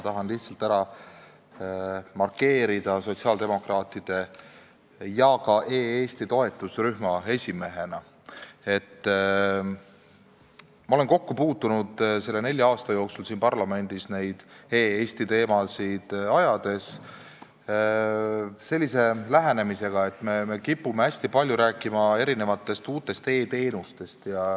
Tahan lihtsalt ära markeerida sotsiaaldemokraatide fraktsiooni liikmena ja ka e-Eesti toetusrühma esimehena, et ma olen nende nelja aasta jooksul siin parlamendis e-Eesti teemasid käsitledes kokku puutunud sellise lähenemisega, et me kipume hästi palju rääkima erinevatest uutest e-teenustest.